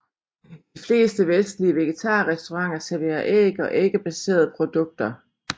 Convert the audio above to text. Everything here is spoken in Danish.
De fleste vestlige vegetarrestauranter serverer æg og æggebaserede produkter